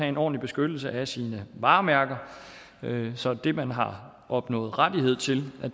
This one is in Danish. en ordentlig beskyttelse af sine varemærker så det man har opnået rettighed til er